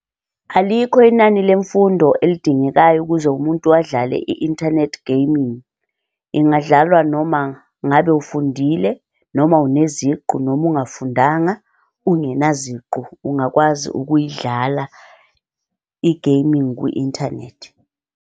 Alikho inani lemfundo elidingekayo ukuze umuntu adlale i-internet gaming. Ingadlalwa noma ngabe ufundile, noma uneziqu, noma ungafundanga, ungena ziqu ungakwazi ukuyidlala i-gaming kwi-internet.